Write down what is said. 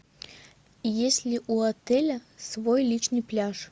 есть ли у отеля свой личный пляж